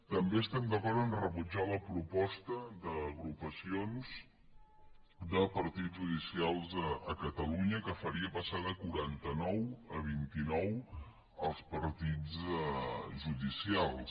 també estem d’acord a rebutjar la proposta d’agrupacions de partits judicials a catalunya que faria passar de quaranta nou a vint i nou els partits judicials